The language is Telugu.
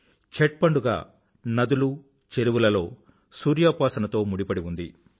ఛట్ పండుగ నదులు చెరువులలో సూర్యోపాసనతో ముడిపడి ఉంది